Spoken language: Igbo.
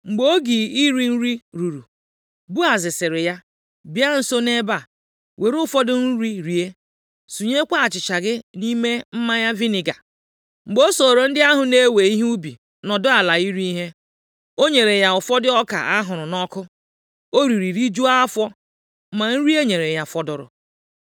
Mgbe oge iri nri ruru, Boaz sịrị ya, “Bịa nso nʼebe a, were ụfọdụ nri rie, sunyekwa achịcha gị nʼime mmanya viniga.” + 2:14 Ọ bụ mmanya gbara ụka a wụnyere mmanụ ntakịrị, ka e ji emepụta mmanya viniga. Mgbe o soro ndị ahụ na-ewe ihe ubi nọdụ ala iri ihe, o nyere ya ụfọdụ ọka a hụrụ nʼọkụ. O riri, rijuo afọ ma nri e nyere ya fọdụrụ.